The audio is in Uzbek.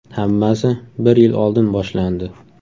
Hammasi bir yil oldin boshlandi.